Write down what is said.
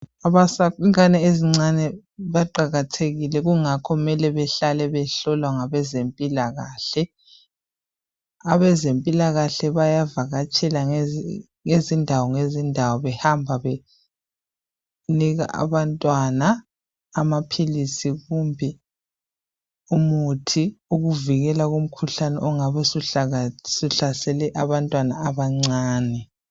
Abantwana abancane baqakathekile ingakho kumele behlale behlolwa ngabezempilakahle. Abezempilakahle bayavakatshela ngezindawo ngezindawo behamba benika abantwana amaphilisi kumbe umuthi ukuvikela kumkhuhlane ongabe usuhlasele abantwana abancane.